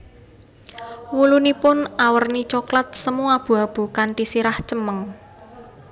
Wulunipun awerni coklat semu abu abu kanthi sirah cemeng